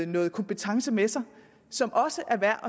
noget kompetence med sig som også er værd